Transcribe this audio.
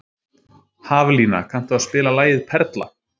Haflína, kanntu að spila lagið „Perla“?